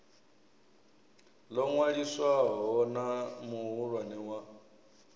ḽo ṅwaliswaho na muhulwane wa